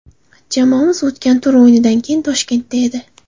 Jamoamiz o‘tgan tur o‘yinidan keyin Toshkentda edi.